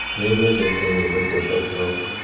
Nĩ nyendete nyĩmbo cia soft rock